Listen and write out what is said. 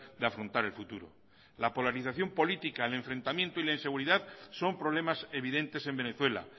de afrontar el futuro la polarización política el enfrentamiento y la inseguridad son problemas evidentes en venezuela